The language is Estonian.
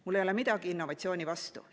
Mul ei ole midagi innovatsiooni vastu.